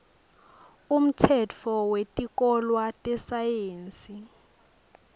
umtsetfo wetikolwa tesayensi